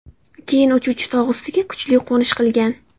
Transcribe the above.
Keyin uchuvchi tog‘ ustiga kuchli qo‘nish qilgan.